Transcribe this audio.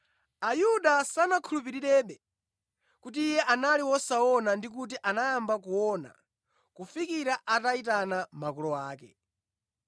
Ayuda sanakhulupirirebe kuti iye anali wosaona ndi kuti anayamba kuona kufikira atayitana makolo ake.